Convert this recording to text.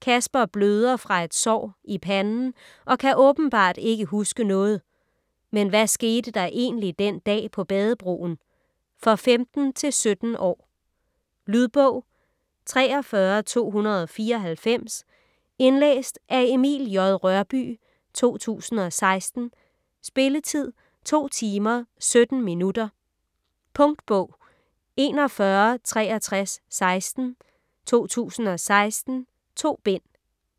Kasper bløder fraet sår i panden og kan åbenbart ikke huske noget. Men hvad skete der egentlig den dag på bade-broen? For 15-17 år. Lydbog 43294 Indlæst af Emil J. Rørbye, 2016. Spilletid: 2 timer, 17 minutter. Punktbog 416316 2016. 2 bind.